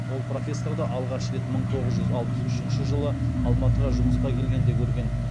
ол профессорды алғаш рет мың тоғыз жүз алпыс үшінші жылы алматыға жұмысқа келгенде көрген